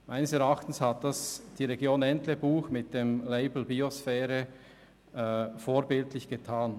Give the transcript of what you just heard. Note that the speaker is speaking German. Meines Erachtens hat das die Region Entlebuch mit dem Label «Biosphäre» vorbildlich getan.